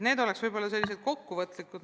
Kokkuvõtlikult siis nii palju.